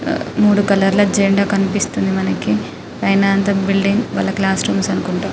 మూడు కలర్ ల జెండా కనిపిస్తుంది మనకి పైన అంత బిల్డింగ్ వాళ్ళ క్లాస్ రూమ్ అనుకుంట --